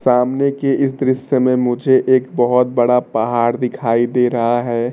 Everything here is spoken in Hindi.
सामने के इस दृश्य में मुझे एक बहुत बड़ा पहाड़ दिखाई दे रहा है।